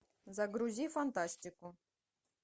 загрузи фантастику